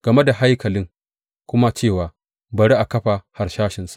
game da haikali kuma cewa, Bari a kafa harsashinsa.